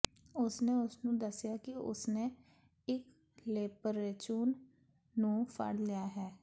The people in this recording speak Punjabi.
ਉਸਨੇ ਉਸਨੂੰ ਦੱਸਿਆ ਕਿ ਉਸਨੇ ਇੱਕ ਲੇਪਰੇਚੂਨ ਨੂੰ ਫੜ ਲਿਆ ਹੈ